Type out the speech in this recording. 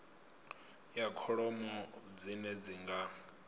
ya kholomo dzine dzi nga